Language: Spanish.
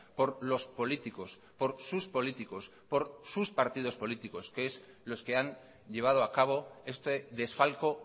por los políticos por sus políticos por sus partidos políticos que es los que han llevado a cabo este desfalco